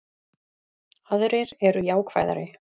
Aðrir eru jákvæðari